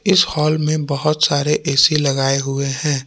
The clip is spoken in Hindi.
इस हाल में बहोत सारे ए_सी लगाए हुए हैं।